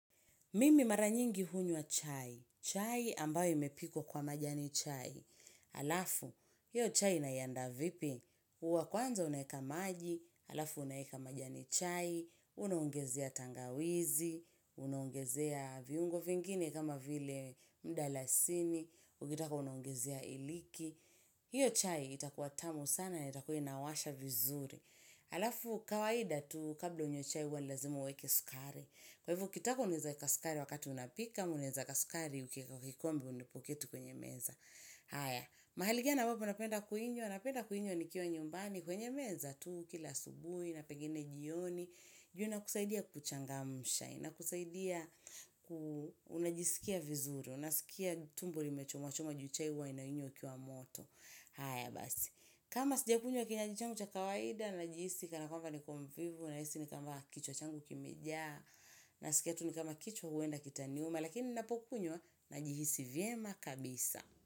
Mimi maranyingi hunywa chai. Chai ambayo imepikwa kwa majani chai. Halafu, hiyo chai naiandaa vipi? Huwa kwanza unaweka maji, halafu unaweka majani chai, unaongezea tangawizi, unaongezea viungo vingine kama vile mdalasiniukitaka, unaongezea iliki. Hiyo chai itakuwatamu sana na itakuwaina washa vizuri. Halafu, kawaida tu kabla hujanywa chai huwa lazima uweke sukari. Kwa hivyo, ukitaka unaezae kasukari wakati unapika, unaezae kasukari, ukiwekakikombe unapoketi kwenye meza. Haya, mahaligani a mbapo, unapenda kuinywa, napenda kuinywa, nikiwa nyumbani, kwenye meza tu, kila asubuhi, napegine jioni. Jua na kusaidiaku kuchangamsha, ina kusaidia unajisikia vizuri, unasikia tumbo limecho, mwachomwa, juchaihuwa, nainywa ukiwa moto. Haya, basi. Kama sija kunywa kinywa jichangu cha kawaida na jihisi kanakwamba nikomvivu na hisi nikwamba kichwa changu kimejaa na sikiatu nikama kichwa huenda kitaniuma lakini napokunywa na jihisi vyema kabisa.